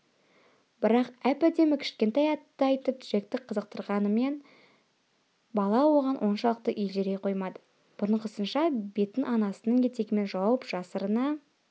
бірақ әп-әдемі кішкентай атты айтып джекті қызықтырғанымен бала оған оншалықты елжірей қоймады бұрынғысынша бетін анасының етегімен жауып жасырына